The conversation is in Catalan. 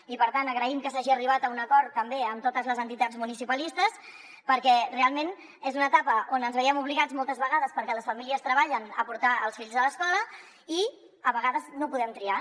i per tant agraïm que s’hagi arribat a un acord també amb totes les entitats municipalistes perquè realment és una etapa on ens veiem obligats moltes vegades perquè les famílies treballen a portar els fills a l’escola i a vegades no podem triar